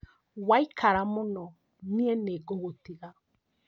Waikara mũno niĩ nĩ ngũgũtiga